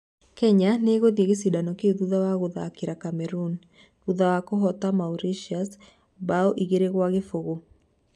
Kenya nĩ ĩgũthiĩ gĩcindano kĩu thutha wa gũthakĩra Cameroon, thutha wa kũhoota Mauritania mbao 2-0.